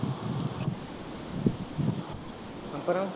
அப்புறம்